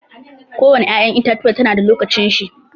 Ko wani ƴa'ƴan itatuwa ta na da lokacin shi.